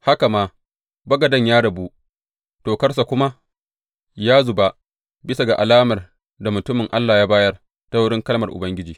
Haka ma, bagaden ya rabu, tokarsa kuma ya zuba, bisa ga alamar da mutumin Allah ya bayar, ta wurin kalmar Ubangiji.